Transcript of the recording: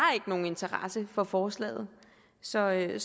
nogen interesse for forslaget og så er det